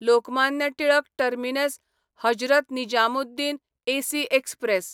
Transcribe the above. Lokmanya Tilak terminus Hazrat Nizamuddin AC express